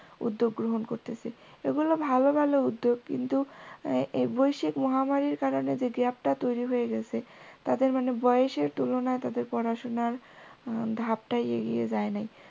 উদ্যোগ গ্রহণ করতেসে, এগুলো ভালো ভালো উদ্যোগ কিন্তু এই বৈশিক মহামারীর কারণে যে gap টা তৈরি হয়ে গেসে তাদের মানে বয়সের তুলনায় তাদের পড়াশোনার ধাপটা এগিয়ে যায় নাই।